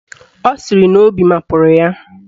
Ọ sịrị na obi mapụrụ ya.